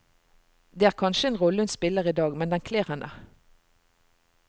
Det er kanskje en rolle hun spiller idag, men den kler henne.